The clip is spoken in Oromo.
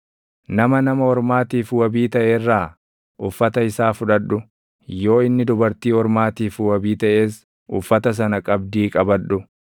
Nama nama ormaatiif wabii taʼe irraa uffata isaa fudhadhu; yoo inni dubartii ormaatiif wabii taʼes uffata sana qabdii qabadhu.